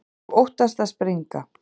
Og óttast að springa.